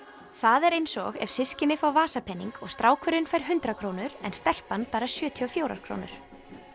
það er eins og ef systkini fá vasapening og strákurinn fær hundrað krónur en stelpan bara sjötíu og fjórar krónur